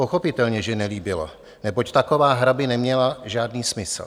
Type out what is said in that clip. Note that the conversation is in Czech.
Pochopitelně že nelíbilo, neboť taková hra by neměla žádný smysl.